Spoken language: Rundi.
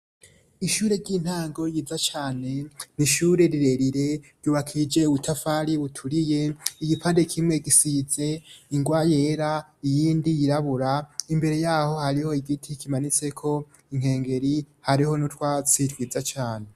Ishure ry'intango yiza cane nishure rirerire ryubakije uwutafari uturiye igipande kimwe gisize ingwa yera iyindi yirabura imbere yaho hariho igiti kimanitse ko inkengeri hariho n'utwatsi twiza cane.